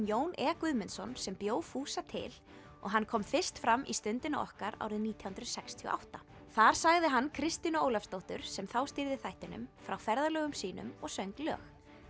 Jón e Guðmundsson sem bjó fúsa til og hann kom fyrst fram í Stundinni okkar árið nítján hundruð sextíu og átta þar sagði hann Kristínu Ólafsdóttur sem þá stýrði þættinum frá ferðalögum sínum og söng lög